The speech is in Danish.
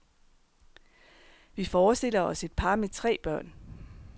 Vi forestiller os et par med tre børn.